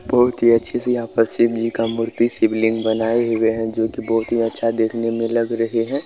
बहुत ही अच्छे से यहाँ पर शिवजी का मूर्ति शिवलिंग बनाए हुए है जो की बहुत ही अच्छा देखने में लग रहे है।